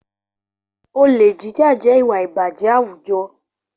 Olè jíjà jẹ́ ìwà ìbàjẹ́ àwùjọ